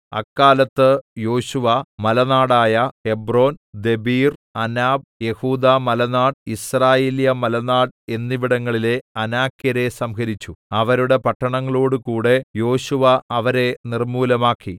അക്കാലത്ത് യോശുവ മലനാടായ ഹെബ്രോൻ ദെബീർ അനാബ് യെഹൂദാമലനാട് യിസ്രായേല്യമലനാട് എന്നിവിടങ്ങളിലെ അനാക്യരെ സംഹരിച്ചു അവരുടെ പട്ടണങ്ങളോടുകൂടെ യോശുവ അവരെ നിർമ്മൂലമാക്കി